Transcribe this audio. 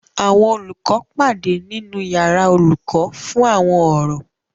Àwọn olùkọ́ pàdé nínu yàrá olùkọ́ fún àwọn ọ̀rọ̀